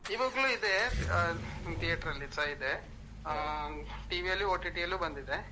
ಇವಾಗ್ಲೂ ಇದೆ theater ಲ್ಲಿಸ ಇದೆ. ಹ್ಮ್ TV ಅಲ್ಲೂ OTT ಅಲ್ಲೂ ಬಂದಿದೆ.